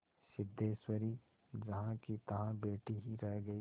सिद्धेश्वरी जहाँकीतहाँ बैठी ही रह गई